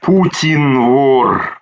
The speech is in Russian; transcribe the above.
путин вор